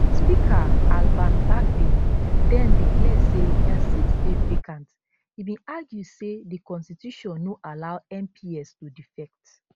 speaker alban bagbin den declare say dia seats dey vacant e bin argue say di constitution no allow mps to defect